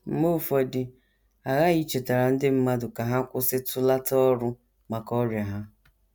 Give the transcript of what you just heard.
Mgbe ụfọdụ a ghaghị ichetara ndị mmadụ ka ha kwụsịtụlata ọrụ maka ọrịa ha. ”